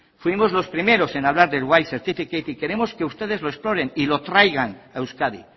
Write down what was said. fuimos los primeros en hablar de white certificate y queremos que ustedes lo exploren y lo traigan a euskadi